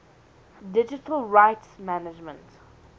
digital rights management